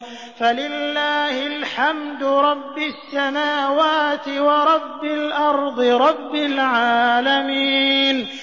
فَلِلَّهِ الْحَمْدُ رَبِّ السَّمَاوَاتِ وَرَبِّ الْأَرْضِ رَبِّ الْعَالَمِينَ